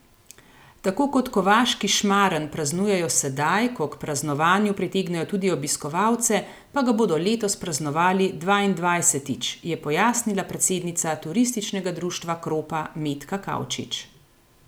Tako kot kovaški šmaren praznujejo sedaj, ko k praznovanju pritegnejo tudi obiskovalce, pa ga bodo letos praznovali dvaindvajsetič, je pojasnila predsednica Turističnega društva Kropa Metka Kavčič.